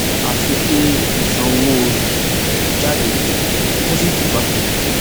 àfi kí sanwóoru jáde kó sì túúbá